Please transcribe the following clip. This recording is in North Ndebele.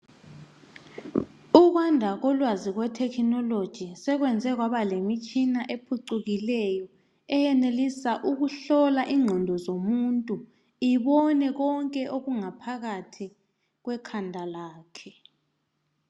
Ukwanda kolwazi lwe technology sekwenza kwaba lemitshina uphucukileyo eyeneliswa ukuhlola ingqondo zomuntu ibone konke okungaphakathi kwekhanda lakhe.